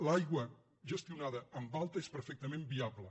l’aigua gestionada en alta és perfectament viable